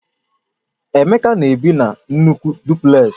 Emeka na-ebi na nnukwu Dupleks